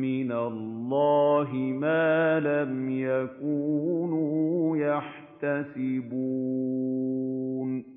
مِّنَ اللَّهِ مَا لَمْ يَكُونُوا يَحْتَسِبُونَ